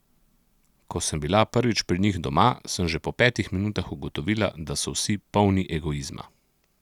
Ko sem bila prvič pri njih doma, sem že po petih minutah ugotovila, da so vsi polni egoizma.